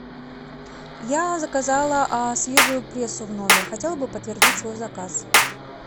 я заказала свежую прессу в номер хотела бы подтвердить свой заказ